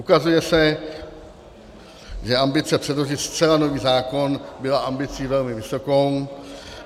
Ukazuje se, že ambice předložit zcela nový zákon byla ambicí velmi vysokou.